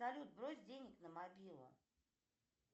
салют брось денег на мобилу